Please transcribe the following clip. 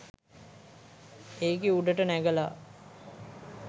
ඒකෙ උඩට නැඟලා